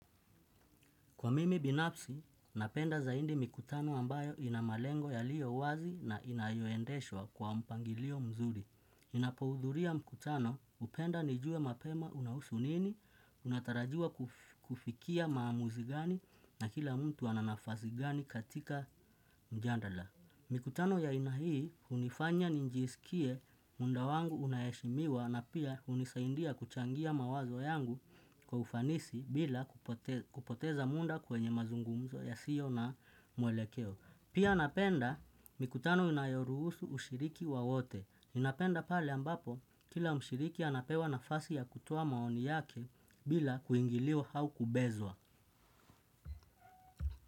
Kwa mimi binafsi, napenda zaindi mikutano ambayo ina malengo yaliyo wazi na inayoendeshwa kwa mpangilio mzuri. Ninapoudhuria mkutano, hupenda nijue mapema unahusu nini, unatarajiwa kufikia maamuzi gani na kila mtu ana nafasi gani katika mjandala. Mikutano ya aina hii hunifanya ninjisikie muda wangu unaheshimiwa na pia hunisaindia kuchangia mawazo yangu kwa ufanisi bila kupoteza munda kwenye mazungumzo yasio na mwelekeo. Pia napenda mikutano inayoruhusu ushiriki wa wote. Ninapenda pale ambapo kila mshiriki anapewa nafasi ya kutoa maoni yake bila kuingiliwa hau kubezwa.